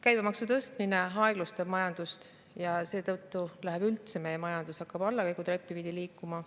Käibemaksu tõstmine aeglustab majandust ja seetõttu üldse meie majandus hakkab allakäigutreppi pidi liikuma.